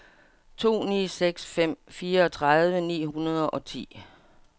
to ni seks fem fireogtredive ni hundrede og ti